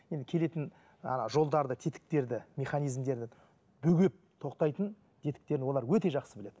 енді келетін ана жолдарды тетіктерді механизмдерді бөгеп тоқтайтын тетіктерін олар өте жақсы біледі